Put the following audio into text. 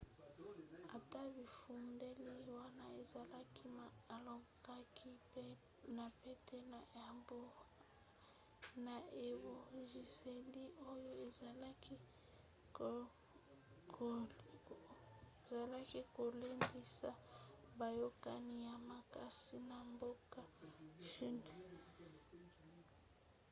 ata bifundeli wana ezalaki ma alongaki na pete na ebongiseli oyo ezalaki kolendisa boyokani ya makasi na mboka chine